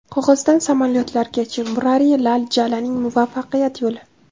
Qog‘ozdan samolyotlargacha: Murari Lal Jalanning muvaffaqiyat yo‘li.